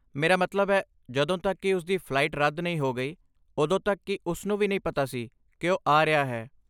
ਮੇਰਾ ਮਤਲਬ ਹੈ, ਜਦੋਂ ਤੱਕ ਕਿ ਉਸ ਦੀ ਫਲਾਈਟ ਰੱਦ ਨਹੀਂ ਹੋ ਗਈ ਉਦੋਂ ਤੱਕ ਕਿ ਉਸ ਨੂੰ ਵੀ ਨਹੀਂ ਪਤਾ ਸੀ ਕਿ ਉਹ ਆ ਰਿਹਾ ਹੈ।